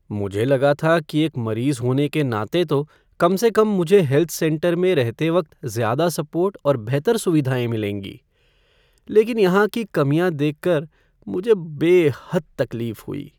मुझे लगा था कि एक मरीज़ होने के नाते तो कम से कम मुझे हेल्थ सेंटर में रहते वक्त ज़्यादा सपोर्ट और बेहतर सुविधाएँ मिलेंगी, लेकिन यहाँ की कमियाँ देखकर मुझे बेहद तकलीफ़ हुई।